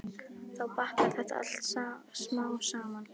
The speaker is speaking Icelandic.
Þá batnar þetta allt smám saman.